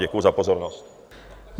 Děkuji za pozornost.